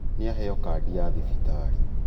Nīaheo kandi ya thibitarī